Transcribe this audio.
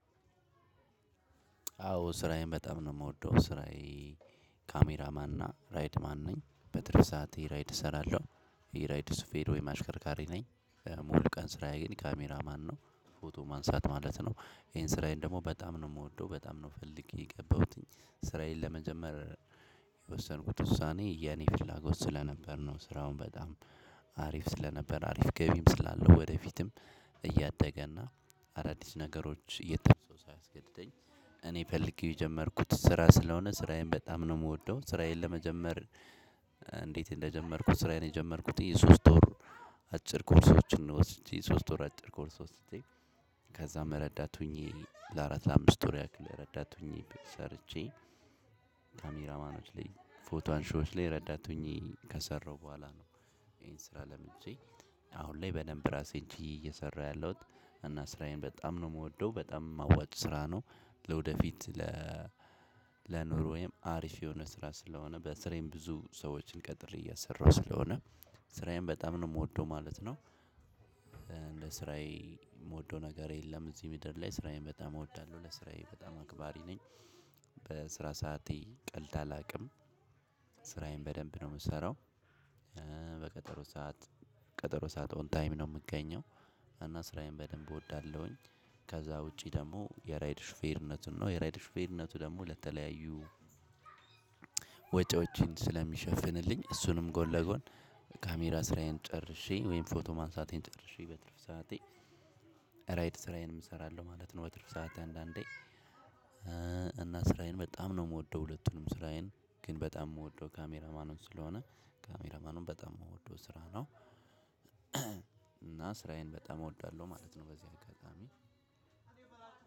አዎ ስራዬን በጣም ነው እምወደው ስራዬ ካሜራማንና ራይድ ማን ነኝ በትርፍ ሰዓቴ ራይድ እሰራለሁ የራይድ ሽፌር ወይ አሽከርካሪ ነኝ ሙሉ ቀን ስራዬን ካሜራ ማንነው ፎቶ ማንሳት ማለት ነው። ይሄን ስራዬን ደግሞ በጣም ነው እምወደው በጣም ነው ፈልጌ የገባሁት ስራዬን ለመጀመር የወሰንኩት ውሳኔ የኔ ፍላጎት ስለነበር ነው። ስራውን በጣም አሪፍ ስለነበር አሪፍ ገቢም ስላለው ወደፊትም እያደገ እና አዳዲስ ነገሮች እየተነሱ ሳያስገድደኝ እኔም ፈልጌ የጀመርኩት ስራ ስለሆነ ስራዬን በጣም ነው እምወደው። ስራዬን ለመጀመር። እንዴት እንደጀመርኩት? ስራዬን የጀመርኩት የሶስት ወሩ አጭር ኮርሶችን ወስጄ ሶስት ወር አጭር ኮርስ ወስጄ ከዛም ረዳት ሁኜ ለአራት ላምስት ወር ያክል ረዳት ሁኜ ሰርቼ። ካሜራማን ፎቶ አንሺዎች ላይ ረዳት ሆኜ ከሰራሁ በኋላ ነው። ይሄን ስራ ለምጄ አሁንላይ በደንብ እራሴን ችየ እየሰራሁ ያለሁት እና ስራዬን በጣም ነው እምወደው በጣም አዋጪ ስራ ነው። ለወደፊት ለ ለኑሮየም አሪፍ የሆነ ስራ ስለሆነ በስሬም ብዙ ሰዎችን ቀጥሬ እያሰራሁ ስለሆነ ስራዬን በጣም ነው እምወደው ማለት ነው። እንደስራዬ እምወደው ነገር የለም እዚህ ምድር ላይ ስራዬን በጣም እወዳለሁ ለስራዬ በጣም አክባሪ ነኝ። በስራ ሰዓቴ ቀልድ አላቅም። ስራዬን በደንብ ነው እምሰራው። በቀጠሮ ሰዓት ቀጠሮ ሰዓት ኦን ታይም ነው እምገኘው። እናስራዬን በደንብ እወዳለሁኝ። ከዛ ውጪ ደግሞ የራይድ ሹፌርነቱን ነው የራይድ ሹፌርነቱ ደግሞ ለተለያዩ ወጪዎችን ስለሚሸፍንልኝ እሱንም ጎን ለጎን። ካሜራ ስራዬን ጨርሼ ወይም ፎቶ ማንሳቴን ጨርሼ በትርፍ ሰዓቴ ራይድ ስራዬንም እሰራለሁ ማለት ነው። በትርፍ ሰዓት አንዳንዴ እና ስራዬን በጣም ነው እምወደው። ሁለቱንም ስራዬን ግን በጣም እምወደው ካሜራማኑን ስለሆነ ካሜራማኑን በጣም እምወደው ስራ ነው። ስራዬን በጣም እወዳለሁ ማለት ነው። በዚህ አጋጣሚ